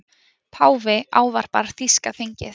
Páfi ávarpar þýska þingið